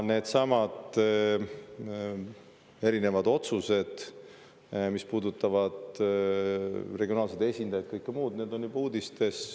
Needsamad erinevad otsused, mis puudutavad regionaalseid esindajaid ja kõike muud, on juba uudistes.